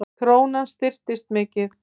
Krónan styrkist mikið